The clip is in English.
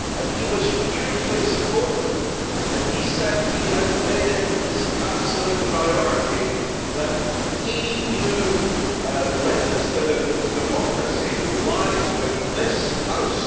He was hugely supportive and said that he has made it his absolute priority that EU legislative democracy lies with this House.